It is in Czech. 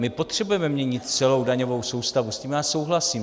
My potřebujeme měnit celou daňovou soustavu, s tím já souhlasím.